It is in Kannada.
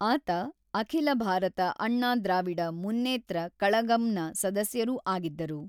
ಆತ ಅಖಿಲ ಭಾರತ ಅಣ್ಣಾ ದ್ರಾವಿಡ ಮುನ್ನೇತ್ರ ಕಳಗಂನ ಸದಸ್ಯರೂ ಆಗಿದ್ದರು.